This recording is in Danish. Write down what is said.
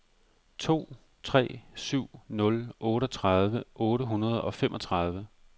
to tre syv nul otteogtredive otte hundrede og femogtredive